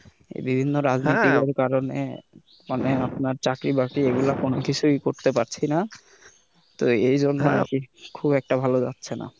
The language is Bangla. বিভিন্ন রাজনীতির কারণে মানে আপনার চাকরি-বাকরি এগুলো কিছুই করতে পারতেছিনা কোন কিছুই করতে পারছি না তো এই জন্য আর কি খুব একটা ভালো যাচ্ছে না।